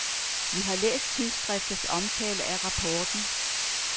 Vi har læst tidsskriftets omtale af rapporten.